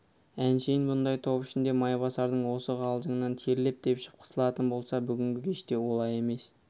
әншейін бұндай топ ішінде майбасардың осы қалжыңынан терлеп-тепшіп қысылатын болса бүгінгі кеште олай емес